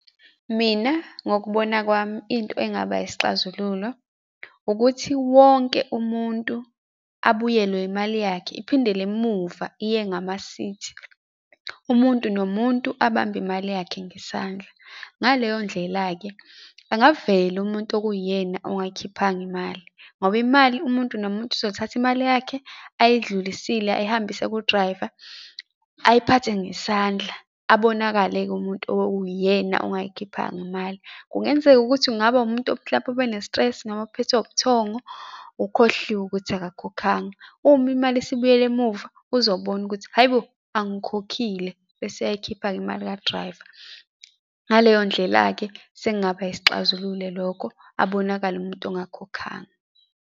Mina, ngokubona kwami, into engaba isixazululo, ukuthi wonke umuntu abuyelwe imali yakhe, iphindele emuva iye ngamasithi, umuntu nomuntu abambe imali yakhe ngesandla. Ngaleyondlela-ke angavela umuntu okuwuyena ongayikhiphanga imali, ngoba imali umuntu nomuntu uzothatha imali yakhe ayidlulisile ayihambise ku-driver, ayiphathe ngesandla. Abonakale-ke umuntu okuwuyena ongayikhiphanga imali. Kungenzeka ukuthi kungaba umuntu mhlampe obene-stress noma uphethwe ubuthongo, ukhohliwe ukuthi akakhokhanga, uma imali isibuyele emuva uzobona ukuthi, hhayi bo, angikhokhile, bese ayayikhipha-ke imali ka-driver. Ngaleyo ndlela-ke, sengaba yisixazululo lokho abonakale umuntu ongakhokhanga.